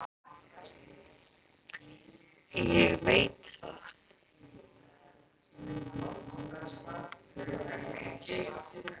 Ég veit það.